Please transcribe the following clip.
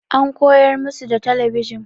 An koyar musu da talabijin.